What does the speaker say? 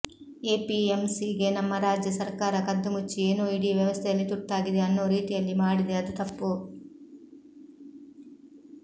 APMC ಗೆ ನಮ್ಮ ರಾಜ್ಯ ಸರ್ಕಾರ ಕದ್ದುಮುಚ್ಚಿ ಏನೋ ಇಡೀ ವ್ಯವಸ್ಥೆಯಲ್ಲಿ ತುರ್ತಾಗಿದೆ ಅನ್ನೋ ರೀತಿಯಲ್ಲಿ ಮಾಡಿದೆ ಅದು ತಪ್ಪು